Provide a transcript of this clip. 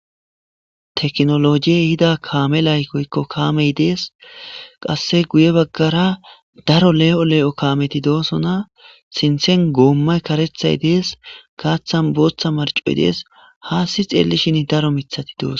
Teckinoloje ehido kame des.qassi giye baggara daro le'o le'o kameti de'osona.sinthan gomay karetayi des.haththan boththa marchoyi dees.qassi xeelishin daro mithathi de'osona.